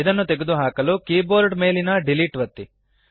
ಇದನ್ನು ತೆಗೆದುಹಾಕಲು ಕೀಬೋರ್ಡ್ ಮೇಲಿನ ಡಿಲೀಟ್ ಒತ್ತಿ